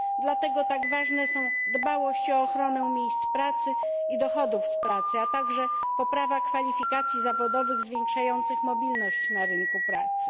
Dlatego tak ważne są dbałość o ochronę miejsc pracy i dochodów z pracy, a także poprawa kwalifikacji zawodowych zwiększających mobilność na rynku pracy.